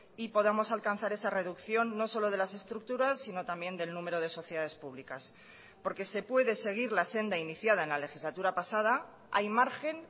y podamos alcanzar esa reducción no solo de las estructuras sino también del número de sociedades públicas porque se puede seguir la senda iniciada en la legislatura pasada hay margen